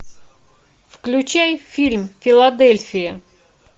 включай фильм филадельфия